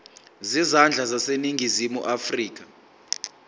zezandla zaseningizimu afrika